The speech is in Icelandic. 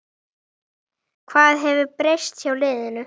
Hvað hefur breyst hjá liðinu?